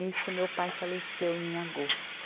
Nisso meu pai faleceu em agosto.